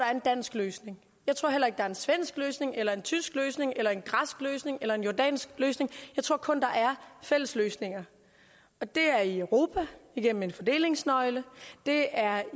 er en dansk løsning jeg tror heller ikke der er en svensk løsning eller en tysk løsning eller en græsk løsning eller en jordansk løsning jeg tror kun der er fælles løsninger det er i europa igennem en fordelingsnøgle det er